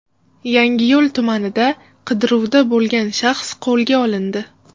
Yangiyo‘l tumanida qidiruvda bo‘lgan shaxs qo‘lga olindi.